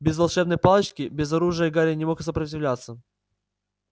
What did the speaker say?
без волшебной палочки без оружия гарри не мог сопротивляться